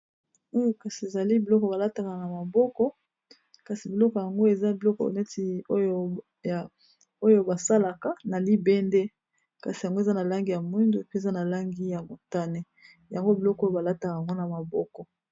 Kasi ezali biloko balataka na maboko kasi biloko yango eza biloko neti oyo basalaka na libende kasi yango eza na langi ya mwindu pe eza na langi ya motane yango biloko oyo balataka yango na maboko